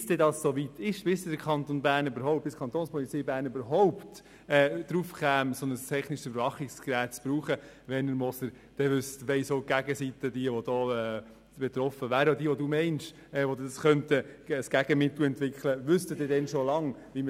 Bis es so weit ist, also bis die Kapo überhaupt auf die Idee kommt, ein solches technisches Überwachungsgerät einzusetzen, weiss die Gegenseite längst, welches Gegenmittel es dazu gibt.